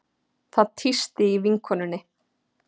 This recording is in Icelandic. Það tísti í vinkonunni.